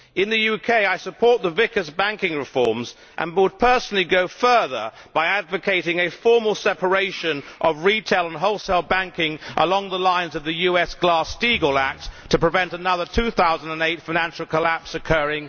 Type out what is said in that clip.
In the UK I support the Vickers banking reforms and would personally go further by advocating a formal separation of retail and wholesale banking, along the lines of the US Glass Stegall Act, to prevent another 2008 financial collapse occurring in the West.